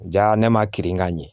Ja ne ma kirin ka ɲɛ